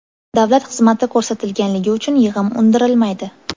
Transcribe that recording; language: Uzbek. Davlat xizmati ko‘rsatilganligi uchun yig‘im undirilmaydi.